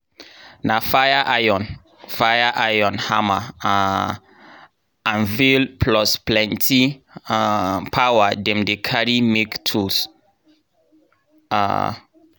na fire iron fire iron hammer um anvil plus plenti um power dem dey carry make tool. um